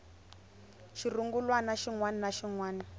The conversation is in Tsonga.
xirungulwana xin wana na xin